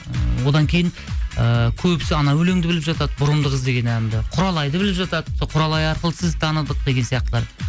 ыыы одан кейін ыыы көбісі анау өлеңді біліп жатады бұрымды қыз деген әнді құралайды біліп жатады сол құралай арқылы сізді таныдық деген сияқтылар